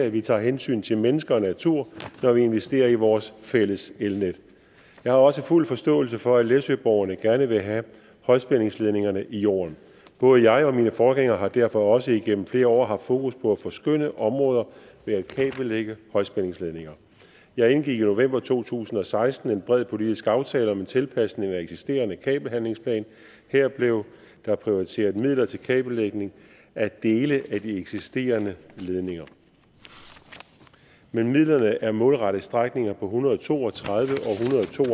at vi tager hensyn til mennesker og natur når vi investerer i vores fælles elnet jeg har også fuld forståelse for at læsøborgerne gerne vil have højspændingsledningerne i jorden både jeg og mine forgængere har derfor også igennem flere år haft fokus på at forskønne områder ved at kabellægge højspændingsledninger jeg indgik i november to tusind og seksten en bred politisk aftale om en tilpasning af den eksisterende kabelhandlingsplan her blev der prioriteret midler til kabellægning af dele af de eksisterende ledninger men midlerne er målrettet strækninger på en hundrede og to og tredive